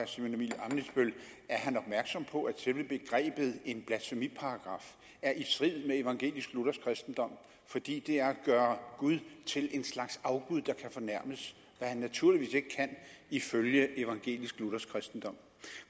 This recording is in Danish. simon emil ammitzbøll er han opmærksom på at selve begrebet blasfemiparagraf er i strid med evangelisk luthersk kristendom fordi det er at gøre gud til en slags afgud der kan fornærmes hvad han naturligvis ikke kan ifølge evangelisk luthersk kristendom